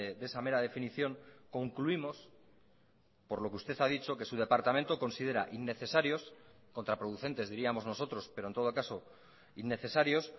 de esa mera definición concluimos por lo que usted ha dicho que su departamento considera innecesarios contraproducentes diríamos nosotros pero en todo caso innecesarios